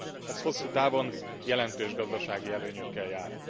Ez hosszútávon jelentős gazdasági előnyökkel jár.